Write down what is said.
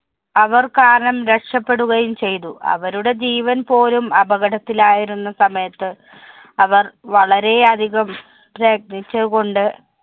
അവര്‍ കാരണം രക്ഷപ്പെടുകയും ചെയ്തു. അവരുടെ ജീവന്‍ പോലും അപകടത്തിലായിരുന്ന സമയത്ത് അവര്‍ വളരെയതികം പ്രയത്നിച്ചതുകൊണ്ട്